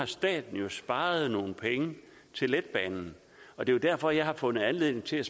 staten har sparet nogle penge til letbanen og det er derfor jeg har fundet anledning til at